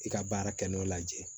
I ka baara kɛ n'o lajɛ ye